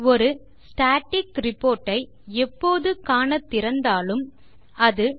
ஒரு static report ஐ எப்போது காண திறந்தாலும் அது